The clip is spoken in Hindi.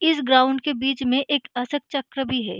इस ग्राउंड के बीच एक अशोक चक्र भी है।